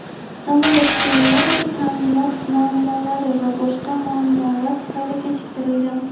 samolyot premyerasi ta’minot muammolari va boshqa muammolar tufayli kechiktirilgan.